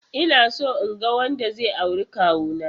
Inaso inga wanda zai auri kawuna.